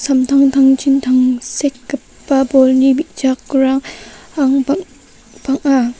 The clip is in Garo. dingtang dingtangchin tangsekgipa bolni bi·jakrang bang-banga.